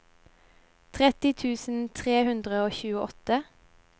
trettini tusen tre hundre og tjueåtte